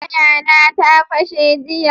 Taya na ta fashe jiya.